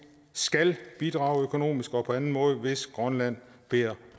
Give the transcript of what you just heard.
skal bidrage økonomisk og på anden måde hvis grønland beder